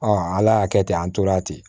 ala y'a kɛ ten an tora ten